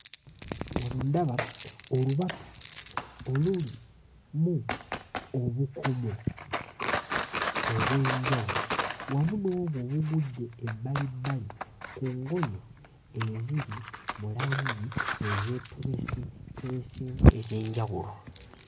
Wano ndaba olubatu olulimu obukomo obw'enjawulo wamu n'obwo obugudde ebbalibbali ku ngoye eziri mu langi ezeetobesetobeseemu ez'enjawulo.